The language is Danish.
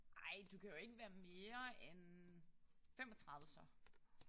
Ej du kan jo ikke være mere end 35 så